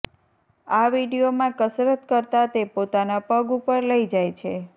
આ વિડીયોમાં કસરત કરતાં તે પોતાના પગ ઉપર લઈ જાય છે